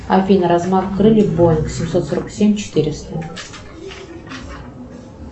афина размах крыльев боинг семьсот сорок семь четыреста